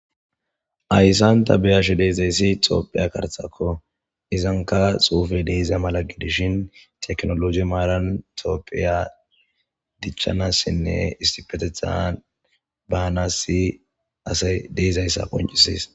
Hayssan ta be'ashe de'izayssi tophphiya karttakko izankka xuufe de'iza mala gidishin tikinoloje maaran tophphiya dichchanaasinne issipetethan baanassi asay de'izayssa qnccisses.